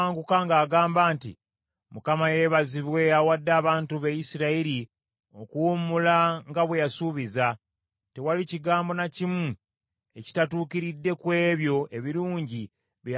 “ Mukama yeebazibwe awadde abantu be Isirayiri okuwummula nga bwe yasuubiza. Tewali kigambo na kimu ekitatuukiridde ku ebyo ebirungi bye yasuubiza omuddu we Musa.